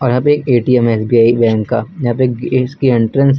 यहां पे एक ए_टी_एम है एस_बी_आई बैंक का यहां पे एक इसकी एंट्रेंस है।